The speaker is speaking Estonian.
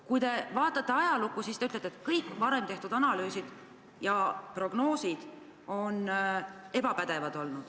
Kui te vaatate minevikku, siis te ütlete, et kõik varem tehtud analüüsid ja prognoosid on ebapädevad olnud.